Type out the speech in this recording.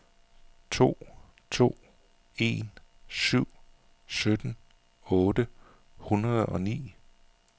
to to en syv sytten otte hundrede og ni